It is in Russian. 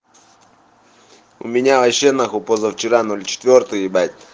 у меня вообще нахуй позавчера ноль четвёртый ебать